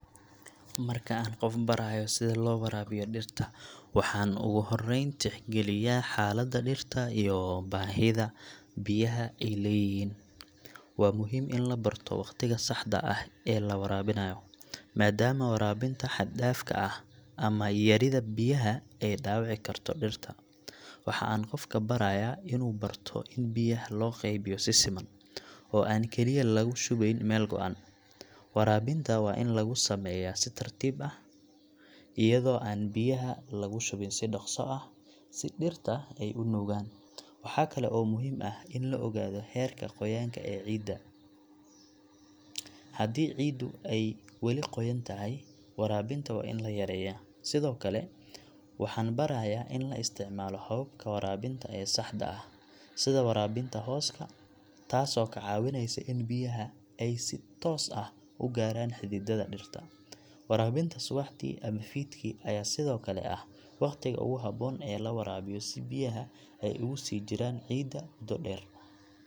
Marka aan qof barayo sida loo waraabiyo dhirta, waxa aan ugu horeyn tixgeliyaa xaaladda dhirta iyo baahida biyaha ay leeyihiin. Waa muhiim in la barto waqtiga saxda ah ee la waraabinayo, maadaama waraabinta xad-dhaafka ah ama yarida biyaha ay dhaawici karto dhirta. Waxa aan qofka barayaa inuu barto in biyaha loo qaybiyo si siman, oo aan kaliya laga shubeyn meel go'an. Waraabinta waa in lagu sameeyaa si tartiib ah, iyadoo aan biyaha lagu shubin si dhaqso ah si dhirta ay u nuugaan. Waxa kale oo muhiim ah in la ogaado heerka qoyaanka ee ciidda, haddii ciiddu ay wali qoyan tahay, waraabinta waa in la yareeyaa. Sidoo kale, waxaan barayaa in la isticmaalo hababka waraabinta ee saxda ah, sida waraabinta hooska, taasoo ka caawinaysa in biyaha ay si toos ah u gaaraan xididdada dhirta. Waraabinta subaxdii ama fiidkii ayaa sidoo kale ah waqtiga ugu habboon ee la waraabiyo si biyaha ay ugu sii jiraan ciidda muddo dheer.